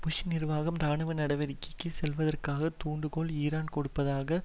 push நிர்வாகம் இராணுவ நடவடிக்கைக்கு செல்லுவதற்கான தூண்டுகோல் ஈரான் கொண்டிருப்பதாக